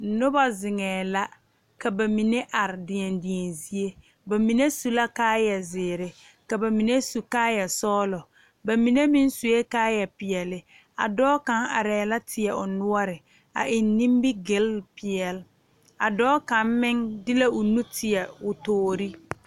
Nobɔ zeŋɛɛ la ka ba mine are deɛn deɛn zie ba mine su la kaayɛ zeere ka ba mine su kaayɛ sɔglɔ ba mine meŋ suee kaayɛ peɛle a dɔɔ kaŋ arɛɛ la teɛ o noɔre a eŋ nimigyile peɛle a dɔɔ kaŋ meŋ de la o nu teɛ o toore.